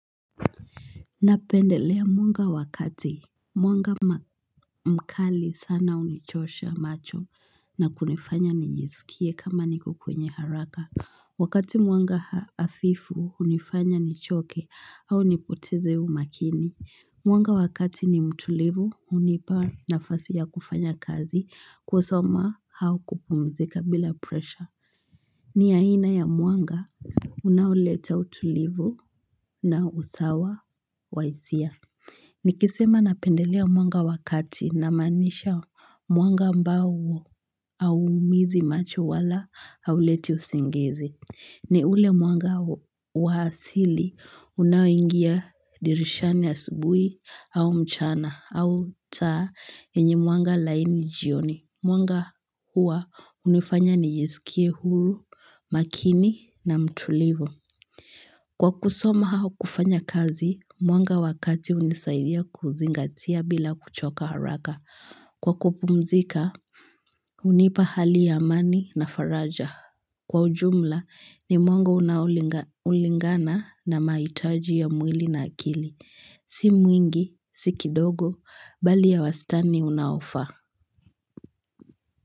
Napendelea mwanga wa kati Mwanga mkali sana hunichosha macho na kunifanya nijisikie kama niko kwenye haraka Wakati mwanga hafifu hunifanya nichoke au nipoteze umakini Mwanga wa kati ni mtulivu hunipa nafasi ya kufanya kazi kusoma au kupumzika bila presha ni aina ya mwanga Unaoleta utulivu na usawa wahisia Nikisema napendelea mwanga wa kati na maanisha mwanga ambao hauumizi macho wala hauleti usingizi ni ule mwanga wa asili unaoingia dirishani asubuhi au mchana au taa yenye mwanga laini jioni Mwanga huwa hunifanya nijisikie huru makini na mtulivu Kwa kusoma au kufanya kazi, mwanga wa kati hunisaidia kuzingatia bila kuchoka haraka. Kwa kupumzika, hunipa hali ya amani na faraja. Kwa ujumla, ni mwanga unaolingana na mahitaji ya mwili na akili. Si mwingi, si kidogo, bali ya wastani unaofaa.